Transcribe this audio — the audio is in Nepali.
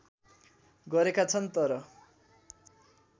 गरेका छन् तर